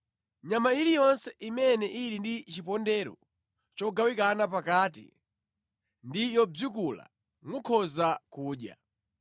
Nyama iliyonse imene ili ndi chipondero chogawikana pakati ndi yobzikula mukhoza kudya.